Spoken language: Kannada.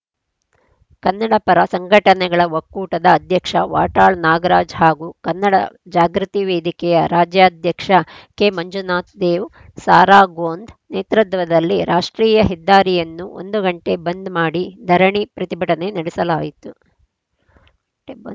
ಕನ್ನಡಪರ ಸಂಘಟನೆಗಳ ಒಕ್ಕೂಟದ ಅಧ್ಯಕ್ಷ ವಾಟಾಳ್‌ ನಾಗರಾಜ್‌ ಹಾಗೂ ಕನ್ನಡ ಜಾಗೃತಿ ವೇದಿಕೆಯ ರಾಜ್ಯಾಧ್ಯಕ್ಷ ಕೆಮಂಜುನಾಥ್‌ ದೇವ್ ಸಾರಾ ಗೋಂದ್‌ ನೇತೃತ್ವದಲ್ಲಿ ರಾಷ್ಟ್ರೀಯ ಹೆದ್ದಾರಿಯನ್ನು ಒಂದು ಗಂಟೆ ಬಂದ್‌ ಮಾಡಿ ಧರಣಿ ಪ್ರತಿಭಟನೆ ನಡೆಸಲಾಯಿತು